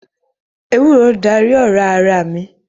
Ewúro darí ọ̀rá ara mi